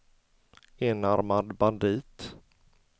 enarmad bandit